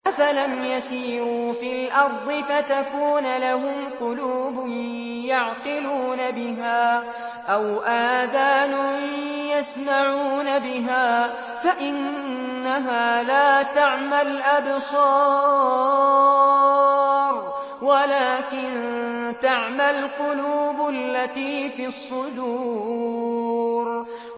أَفَلَمْ يَسِيرُوا فِي الْأَرْضِ فَتَكُونَ لَهُمْ قُلُوبٌ يَعْقِلُونَ بِهَا أَوْ آذَانٌ يَسْمَعُونَ بِهَا ۖ فَإِنَّهَا لَا تَعْمَى الْأَبْصَارُ وَلَٰكِن تَعْمَى الْقُلُوبُ الَّتِي فِي الصُّدُورِ